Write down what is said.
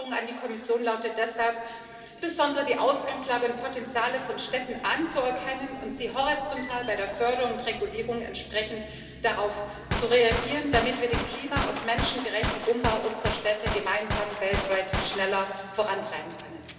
Meine Forderung an die Kommission lautet deshalb, insbesondere die Ausgangslage und Potenziale von Städten anzuerkennen und horizontal bei der Förderung und Regulierung entsprechend darauf zu reagieren, damit wir den klima und menschengerechten Umbau unserer Städte gemeinsam weltweit schneller vorantreiben können.